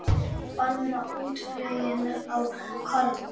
Banna útflutning á korni